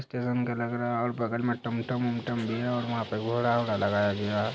Station का लग रहा है और बगल में टमटम वमटम भी है और वहां पे घोड़ा-वोड़ा लगाया गया है।